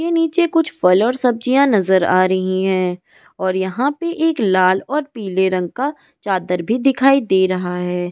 नीचे कुछ फल और सब्जियां नजर आ रही हैं और यहां पर एक लाल और पीले रंग का चादर भी दिखाई दे रहा है ।